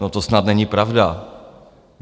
No to snad není pravda!